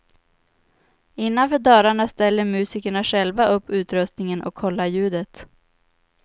Innanför dörrarna ställer musikerna själva upp utrustningen och kollar ljudet.